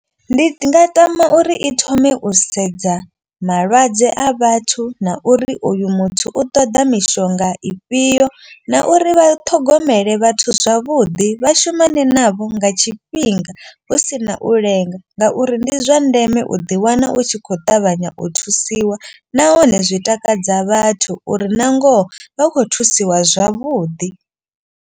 Ndi nga tama uri i thome u sedza malwadze a vhathu na uri uyu muthu u ṱoḓa mishonga ifhio. Na uri vha ṱhogomele vhathu zwavhuḓi vha shumane navho nga tshifhinga. Hu si na u lenga ngauri ndi zwa ndeme u ḓiwana u tshi kho ṱavhanya u thusiwa. Nahone zwi takadza vhathu uri na ngoho vha khou thusiwa zwavhuḓi.